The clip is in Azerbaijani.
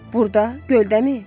Burda, göldəmi?